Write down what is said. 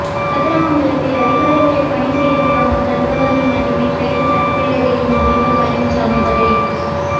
கதிராமங்கலத்தில் அதிகாரிகளை பணி செய்யவிடாமல் தடுத்தவர்கள் மட்டுமே கைது சட்டப்பேரவையில் முதல்வர் பழனிச்சாமி பதில்